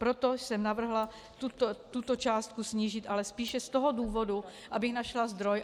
Proto jsem navrhla tuto částku snížit, ale spíše z toho důvodu, abych našla zdroj.